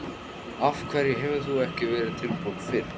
Af hverju hefur þú ekki verið tilbúin fyrr?